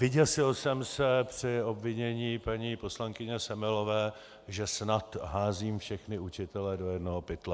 Vyděsil jsem se při obvinění paní poslankyně Semelové, že snad házím všechny učitele do jednoho pytle.